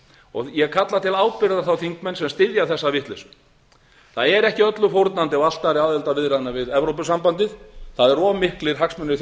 og ég kalla til ábyrgðar þá þingmenn sem styðja þessa vitleysu það er ekki öllu fórnandi á altari aðildarviðræðna við evrópusambandið það eru of miklir hagsmunir